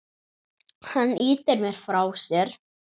Hann ýtir mér frá sér.